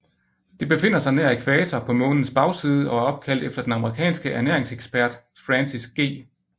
Det befinder sig nær ækvator på Månens bagside og er opkaldt efter den amerikanske ernæringsekspert Francis G